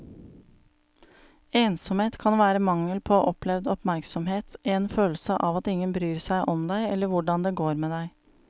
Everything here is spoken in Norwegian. Ensomhet kan være mangel på opplevd oppmerksomhet, en følelse av at ingen bryr seg om deg eller hvordan det går med deg.